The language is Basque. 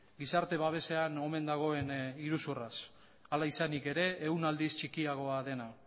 gizarte babesean omen dagoen iruzurraz hala izanik ere ehun aldiz txikiagoa dena